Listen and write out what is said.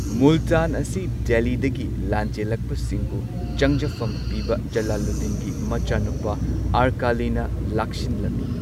ꯃꯨꯜꯇꯥꯟ ꯑꯁꯤ ꯗꯦꯜꯂꯤꯗꯒꯤ ꯂꯥꯟꯖꯦꯜꯂꯛꯄ ꯁꯤꯡꯕꯨ ꯆꯪꯖꯐꯝ ꯄꯤꯕ ꯖꯂꯥꯂꯨꯗꯗꯤꯟꯒꯤ ꯃꯆꯥꯅꯨꯄꯥ ꯑꯔꯀꯥꯂꯤꯅ ꯂꯥꯛꯁꯤꯟꯂꯝꯃꯤ꯫